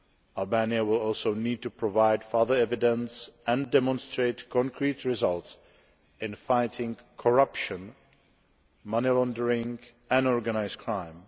Albania will also need to provide further evidence and demonstrate concrete results in fighting corruption, money laundering and organised crime.